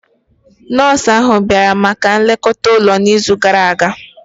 Nọọsụ ahụ bịara maka nlekọta ụlọ n'izu gara aga?